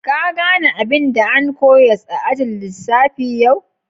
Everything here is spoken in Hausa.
Ka gane abin da an koyars a'ajin lissafi yau?